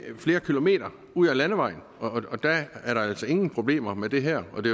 flere kilometer ud ad landevejen og og der er der altså ingen problemer med det her og det